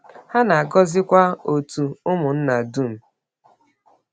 Ha na-agọzikwa òtù ụmụnna dum.